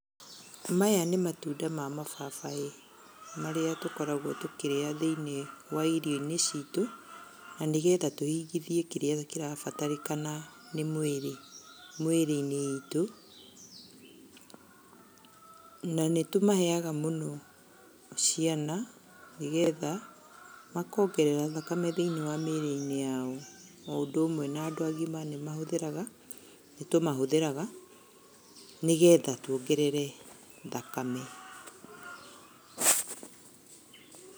Maya nĩ matunda ma mababaĩ, marĩa tũkoragwo tũkĩrĩa thĩiniĩ wa irio-inĩ citũ, na nĩgetha tũhingithie kĩrĩa kĩrabatarĩkana nĩ mũĩrĩ, mũĩrĩ-inĩ witũ. Na nĩtũmaheyaga mũno ciana nĩgetha makongerera thakame thĩiniĩ wa mĩrĩ-inĩ ya o, o ũndũ ũmwe na andũ agima nĩmahũthagĩra, nĩtũmahũthagĩra nĩgetha tuongerere thakame.